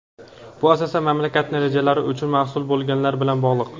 bu asosan mamlakatning rejalari uchun mas’ul bo‘lganlar bilan bog‘liq,.